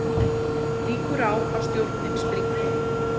Líkur á að stjórnin springi